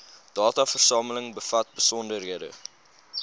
dataversameling bevat besonderhede